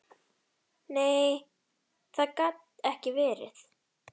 Nei, það gat ekki verið.